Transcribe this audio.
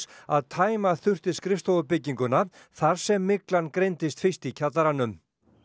að tæma þurfti skrifstofubygginguna þar sem myglan greindist fyrst í kjallaranum